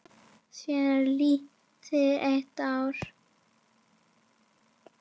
Síðan er liðið eitt ár.